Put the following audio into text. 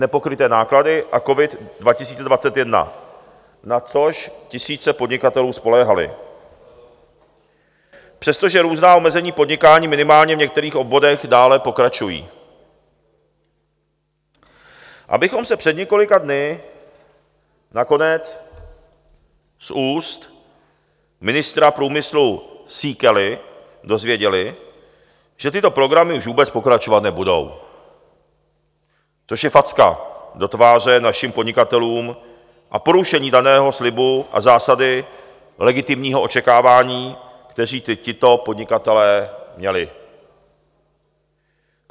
Nepokryté náklady a COVID 2021, na což tisíce podnikatelů spoléhaly, přestože různá omezení podnikání minimálně v některých oborech dále pokračují, abychom se před několika dny nakonec z úst ministra průmyslu Síkely dozvěděli, že tyto programy už vůbec pokračovat nebudou, což je facka do tváře našim podnikatelům a porušení daného slibu a zásady legitimního očekávání, které tito podnikatelé měli.